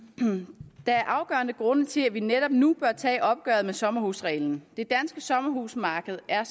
der er nogle afgørende grunde til at vi netop nu bør tage opgøret med sommerhusreglen det danske sommerhusmarked er